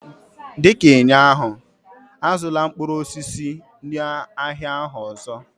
dị ka ụnyaahụ, azụla mkpụrụ osisi n'ahịa ahụ ọzọ!